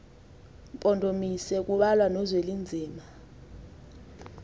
mpondomise kubalwa nozwelinzima